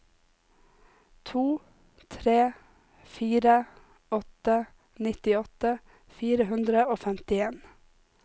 to tre fire åtte nittiåtte fire hundre og femtien